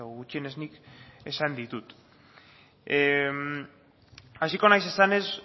gutxienez nik esan ditut hasiko naiz esanez